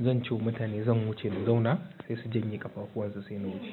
zan ce wa mutane zan wuce mu zauna sai su janye ƙafafuwan su sai na wuce.